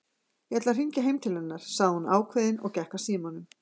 Ég ætla að hringja heim til hennar sagði hún ákveðin og gekk að símanum.